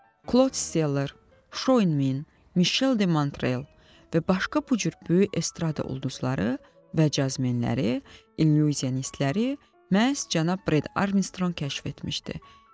Klod Steller, Şou Enmin, Mişel de Mantrel və başqa bu cür böyük estrada ulduzları və cazmenləri, illüziyanistləri məhz cənab Bred Armstronq kəşf etmişdi.